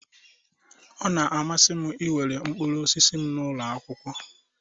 Ọ na-amasị m iwere mkpụrụ osisi m n'ụlọ akwụkwọ